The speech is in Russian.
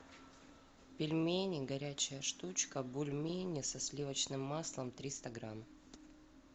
пельмени горячая штучка бульмени со сливочным маслом триста грамм